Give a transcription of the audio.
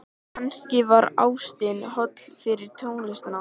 Kannski var ástin holl fyrir tónlistina.